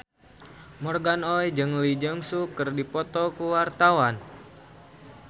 Morgan Oey jeung Lee Jeong Suk keur dipoto ku wartawan